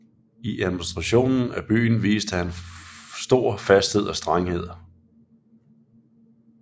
I administrationen af byen viste han stor fasthed og strenghed